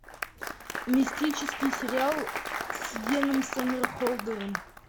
мистический сериал с йеном сомерхолдером